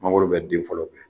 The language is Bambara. Mangoro bɛ den fɔlɔw kɛ